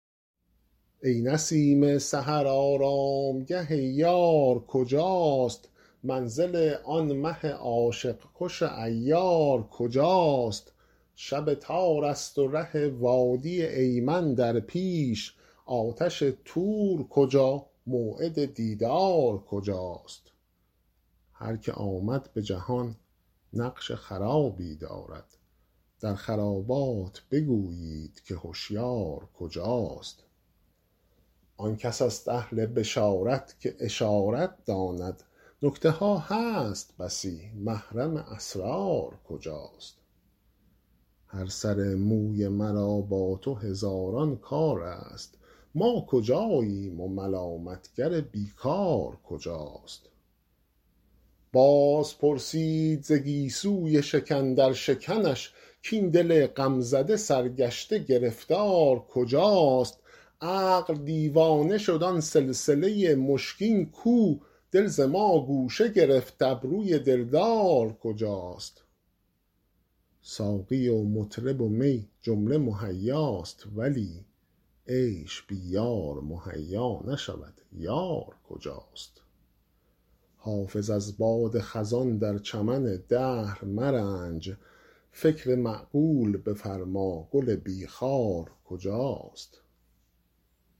ای نسیم سحر آرامگه یار کجاست منزل آن مه عاشق کش عیار کجاست شب تار است و ره وادی ایمن در پیش آتش طور کجا موعد دیدار کجاست هر که آمد به جهان نقش خرابی دارد در خرابات بگویید که هشیار کجاست آن کس است اهل بشارت که اشارت داند نکته ها هست بسی محرم اسرار کجاست هر سر موی مرا با تو هزاران کار است ما کجاییم و ملامت گر بی کار کجاست باز پرسید ز گیسوی شکن در شکنش کاین دل غم زده سرگشته گرفتار کجاست عقل دیوانه شد آن سلسله مشکین کو دل ز ما گوشه گرفت ابروی دلدار کجاست ساقی و مطرب و می جمله مهیاست ولی عیش بی یار مهیا نشود یار کجاست حافظ از باد خزان در چمن دهر مرنج فکر معقول بفرما گل بی خار کجاست